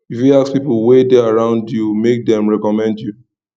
you fit ask pipo wey de around you make dem reccomend you